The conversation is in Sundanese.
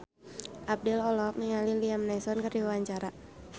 Abdel olohok ningali Liam Neeson keur diwawancara